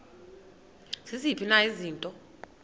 ziziphi na izinto